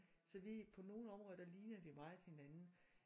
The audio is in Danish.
Så vi på nogen områder der lignede vi meget hinanden